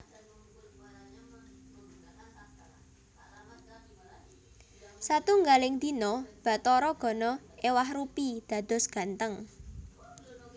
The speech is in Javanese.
Satunggaling dina Bathara Gana éwah rupi dados gantheng